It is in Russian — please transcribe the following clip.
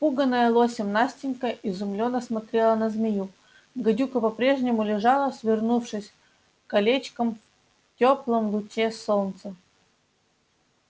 испуганная лосем настенька изумлённо смотрела на змею гадюка по-прежнему лежала свернувшись колечком в теплом луче солнца